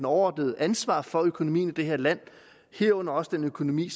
overordnede ansvar for økonomien i det her land herunder også den økonomi